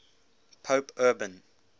pope urban